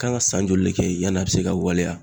Kan ka san joli de kɛ yen, yan'a bɛ se ka waleya?